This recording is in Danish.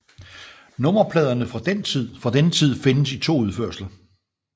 Nummerpladerne fra denne tid findes i to udførelser